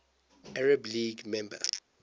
arab league member